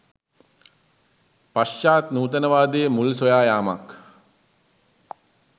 පශ්චාත් නූතනවාදයේ මුල් සොයා යාමක්